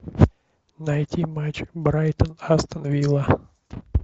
найти матч брайтон астон вилла